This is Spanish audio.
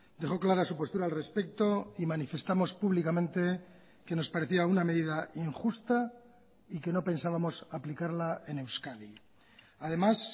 dejó clara su postura al respecto y manifestamos públicamente que nos parecía una medida injusta y que no pensábamos aplicarla en euskadi además